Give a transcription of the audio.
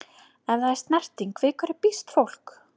Ef það er snerting- við hverju býst fólk?